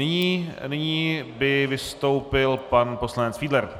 Nyní by vystoupil pan poslanec Fiedler.